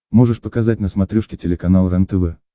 можешь показать на смотрешке телеканал рентв